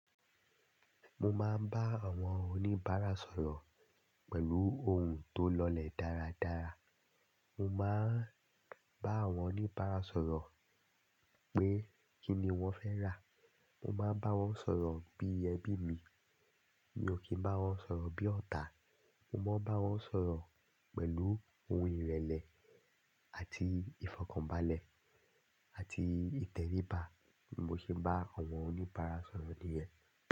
Mo máa ń bá àwọn oníbàárà sọ̀rọ̀ pẹ̀lú ohùn tó lọlẹ̀ dáradára. Mo máa ń bá àwọn oníbàárà sọ̀rọ̀ pé kíni wọ́n fẹ́ rà. Mo máa ń bá wọn sọ̀rọ̀ bí ẹbí mi. Mi ò kí ń bá wọn sọ̀rọ̀ bí ọ̀tá. Mo máa ń bá wọn sọ̀rọ̀ pẹ̀lú ohun ìrẹ̀lẹ̀ àti ìfọ̀kànbalẹ̀ àti ìtẹ̀ríba ni mo ṣe ń bá àwọn oníbàárà sọ̀rọ̀ nìyẹn.